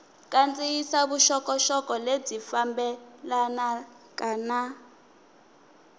kandziyisa vuxokoxoko lebyi fambelanaka na